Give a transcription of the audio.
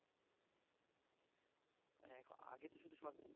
এক আগে তো শুধু সর